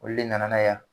Olu le nana n'a ye yan